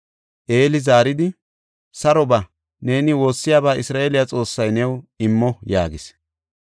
Eeli zaaridi, “Saro ba; neeni woossiyaba Isra7eele Xoossay new immo” yaagis.